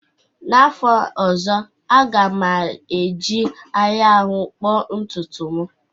N'afọ ọzọ, a ga m eji anyanwụ kpoo ntutu m